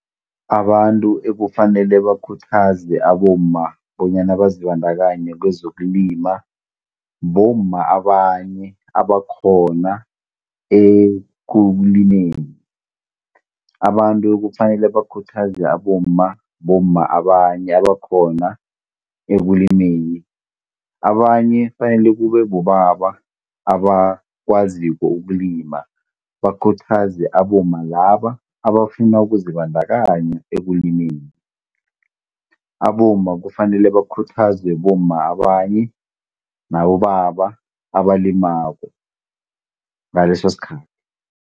Abantu ekufanele bakhuthaze abomma bonyana bazibandakanye kwezokulima bomma abanye abakhona ekulimeni. Abantu kufanele bakhuthaze abomma bomma abanye abakhona ekulimeni, abanye kufanele kube bobaba abakwaziko ukulima bakhuthaze abomma laba abafuna ukuzibandakanya ekulimeni. Abomma kufanele bakhuthazwe bomma abanye nabobaba abalimako ngaleso sikhathi.